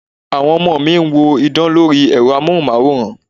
Àwọn ọmọ mi ń wo idán lori Ẹ̀rọ amohunmaworan.